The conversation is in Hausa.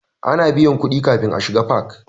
Ana biyan kuɗi kafin a shiga fak.